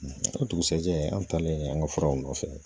O dugusɛjɛ an taalen an ka furaw nɔfɛ